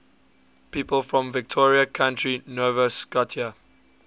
people from victoria county nova scotia